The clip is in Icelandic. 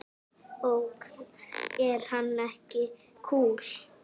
Ok, er hann ekki kúl?